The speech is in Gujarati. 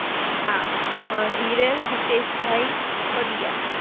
હા, અમ હિરલ હિતેશભાઈ પડિયા